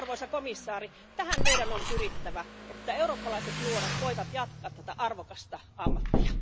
Arvoisa komissaari, tähän meidän on pyrittävä että eurooppalaiset nuoret voivat jatkaa tätä arvokasta ammattia.